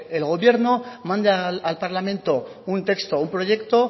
el gobierno mande al parlamento un texto un proyecto